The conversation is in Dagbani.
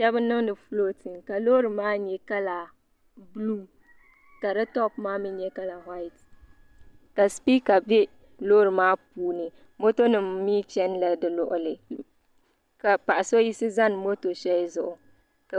shab n niŋdi fulootin ka loori maa nyɛ kala buluu ka di toop maa mii nyɛ kala whait ka sipiika bɛ loori maa puuni moto nim mii chɛnila bi luɣuli ka paɣa so yiɣisi zani moto zuɣu